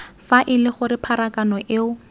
fa ele gore pharakano eo